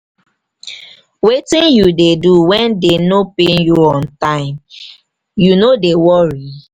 wetin you dey do when dey no pay you on time you no dey worry?